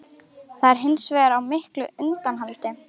Það er hins vegar á miklu undanhaldi